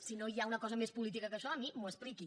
si no hi ha una cosa més política que això a mi m’ho expliqui